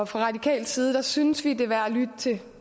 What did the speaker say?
fra radikal side synes vi at det er værd at lytte til